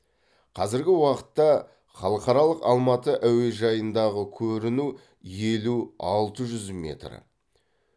қазіргі уақытта халықаралық алматы әуежайындағы көріну елу алты жүз метр